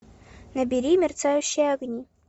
набери мерцающие огни